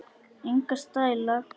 Enga stæla!